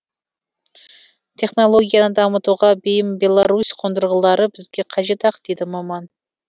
технологияны дамытуға бейім беларусь қондырғылары бізге қажет ақ дейді маман